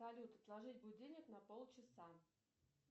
салют отложить будильник на полчаса